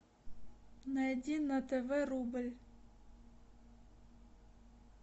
найди на тв рубль